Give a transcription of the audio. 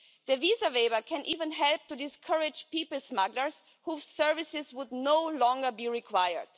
The visa waiver can even help to discourage people smugglers whose services would no longer be required.